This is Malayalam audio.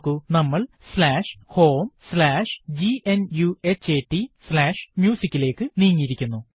നോക്കൂ നമ്മൾ homegnuhataMusic ലേക്ക് നീങ്ങിയിരിക്കുന്നു